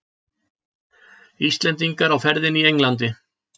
Íslendingar á ferðinni í Englandi